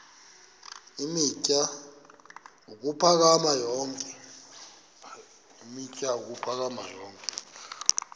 eemitha ukuphakama yonke